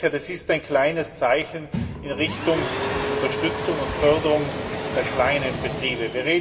Ich denke, das ist ein kleines Zeichen in Richtung Unterstützung und Förderung der kleinen Betriebe.